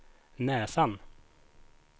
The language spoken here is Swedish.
näsan